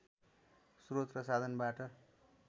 श्रोत र साधनबाट